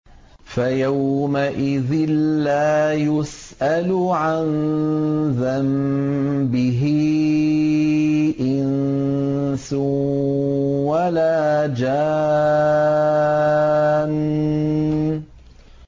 فَيَوْمَئِذٍ لَّا يُسْأَلُ عَن ذَنبِهِ إِنسٌ وَلَا جَانٌّ